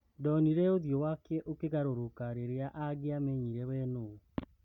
Ndonire ũthiũ wake ũkĩgarũrũka rĩrĩa angĩamenyire wee nũũ.